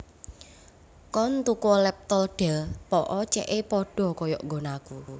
Koen tukuo laptop Dell po'o ce'e podo koyok nggonanku